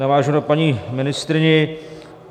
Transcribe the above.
Navážu na paní ministryni.